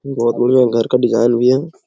बहुत बढ़िया घर का डिजाइन दिया है ।